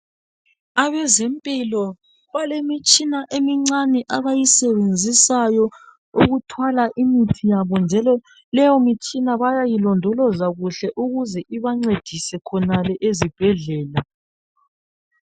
abezempilo balemitshina emincane abayisebenzisayo ukuthwala imithi yabo njalo leyo mitshina bayayilondoza ukuze ibancedise khonale ezibhedlela